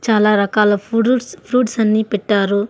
చాలా రకాల fruits fruits అన్నీ పెట్టారు.